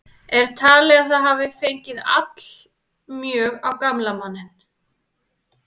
Er talið að það hafi fengið allmjög á gamla manninn.